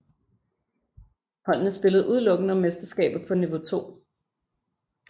Holdene spillede udelukkende om mesterskabet på niveau 2